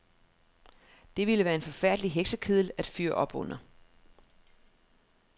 Det ville være en forfærdelig heksekedel at fyre op under.